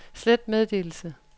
slet meddelelse